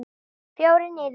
Fjórir niður.